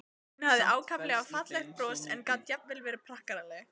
Hún hafði ákaflega fallegt bros og gat jafnvel verið prakkaraleg.